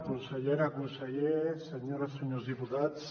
consellera conseller senyores senyors diputats